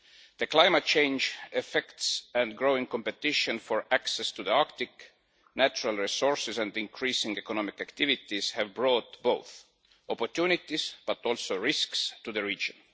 The climate change effects and growing competition for access to the Arctic natural resources and increasing economic activities have brought opportunities but also risks to the region.